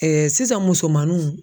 sisan musomanninw.